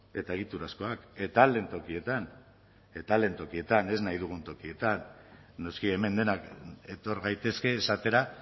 eta egiturazkoak eta ahal den tokietan eta ahal den tokietan ez nahi dugun tokietan noski hemen denak etor gaitezke esatera